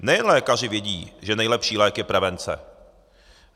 Nejen lékaři vědí, že nejlepší lék je prevence.